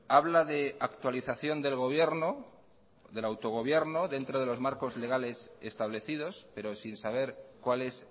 habla de actualización del gobierno del autogobierno dentro de los marcos legales establecidos pero sin saber cuál es